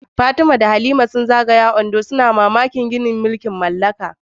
Fatima da Khadija sun zagaya cikin titunan Ondo mai tarihi, suna mamakin gine-ginen zamanin mulkin mallaka.